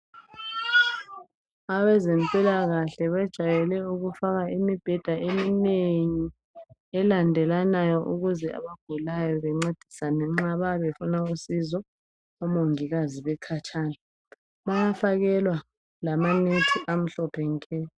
Abezempilakahle bejwayele ukufaka imibheda eminengi elandelanayo. Ukuze abagulayo bencedisane nxa bayabe befuna usizo, omongikazi bekhatshana. Bayafakelwa lamanethi, amhlophe nke.